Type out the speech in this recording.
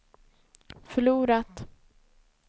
förlorat